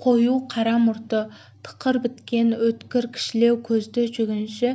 қою қара мұрты тықыр біткен өткір кішілеу көзді жүргінші